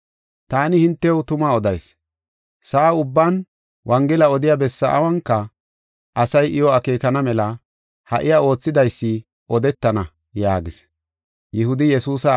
Taani hintew tuma odayis; sa7a ubban wongela odiya bessa awunka, asay iyo akeekana mela ha iya oothidaysi odetana” yaagis.